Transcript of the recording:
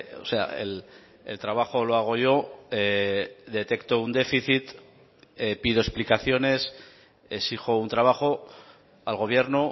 o sea el trabajo lo hago yo detecto un déficit pido explicaciones exijo un trabajo al gobierno